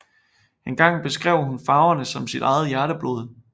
Engang beskrev hun farverne som sit eget hjerteblod